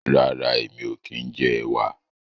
rera èmi ọ kín jẹ ẹwà.